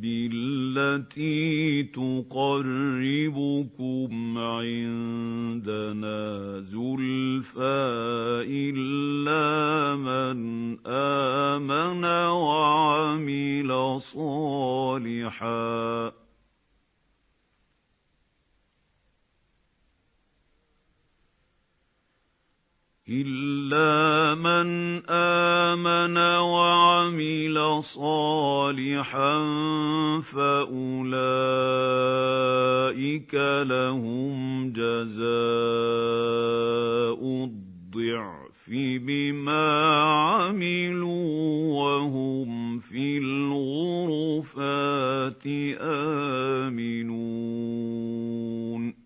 بِالَّتِي تُقَرِّبُكُمْ عِندَنَا زُلْفَىٰ إِلَّا مَنْ آمَنَ وَعَمِلَ صَالِحًا فَأُولَٰئِكَ لَهُمْ جَزَاءُ الضِّعْفِ بِمَا عَمِلُوا وَهُمْ فِي الْغُرُفَاتِ آمِنُونَ